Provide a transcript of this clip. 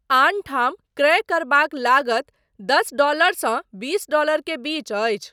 आनठाम, क्रय करबाक लागत दस डॉलरसँ बीस डॉलर के बीच अछि।